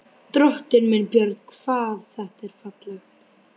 Drottinn minn, Björn, hvað þetta er fallegt!